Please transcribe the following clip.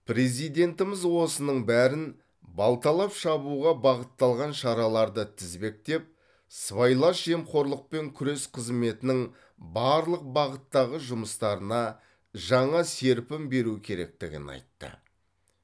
президентіміз осының бәрін балталап шабуға бағытталған шараларды тізбектеп сыбайлас жемқорлықпен күрес қызметінің барлық бағыттағы жұмыстарына жаңа серпін беру керектігін айтты